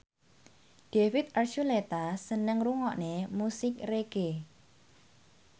David Archuletta seneng ngrungokne musik reggae